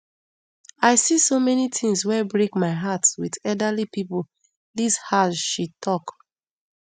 i see so many tins wey break my heart wit elderly pipo dis hajj she tok